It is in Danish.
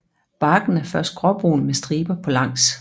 Barken er først gråbrun med striber på langs